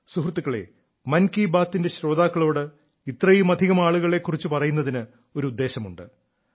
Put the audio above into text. സുഹൃത്തുക്കളേ മൻ കീ ബാത്തിന്റെ ശ്രോതാക്കളോട് ഇത്രയുമധികം ആളുകളെ കുറിച്ച് പറയുന്നതിന് ഒരു ഉദ്ദേശ്യമുണ്ട്